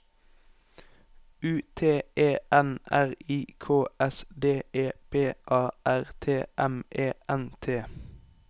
U T E N R I K S D E P A R T E M E N T